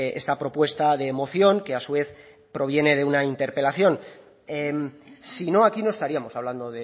esta propuesta de moción que a su vez proviene de una interpelación si no aquí no estaríamos hablando